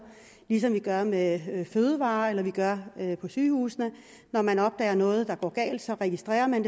ligesom vi gør med fødevarer eller vi gør på sygehusene når man opdager noget der går galt så registrerer man